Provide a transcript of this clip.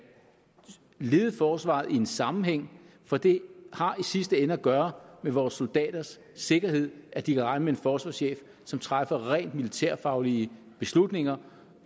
lede forsvaret i en sammenhæng for det har i sidste ende at gøre med vores soldaters sikkerhed at de kan regne med en forsvarschef som træffer rent militærfaglige beslutninger